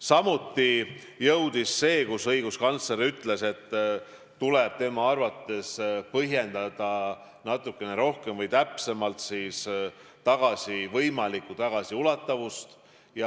Samuti arvestasime seda, et õiguskantsler ütles, et tema arvates tuleb põhjendada natukene rohkem või täpsemalt võimalikku tagasiulatavust.